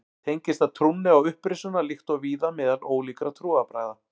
Tengist það trúnni á upprisuna líkt og víða meðal ólíkra trúarbragða.